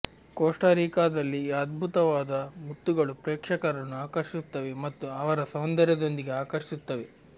Costa ರಿಕಾದಲ್ಲಿ ಈ ಅದ್ಭುತವಾದ ಮುತ್ತುಗಳು ಪ್ರೇಕ್ಷಕರನ್ನು ಆಕರ್ಷಿಸುತ್ತವೆ ಮತ್ತು ಅವರ ಸೌಂದರ್ಯದೊಂದಿಗೆ ಆಕರ್ಷಿಸುತ್ತವೆ